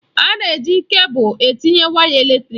A na-eji kebụl etinye waya eletrịk.